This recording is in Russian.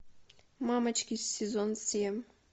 мамочки сезон семь